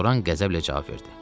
Loran qəzəblə cavab verdi.